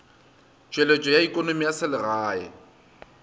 tšweletšo ya ekonomi ya selegae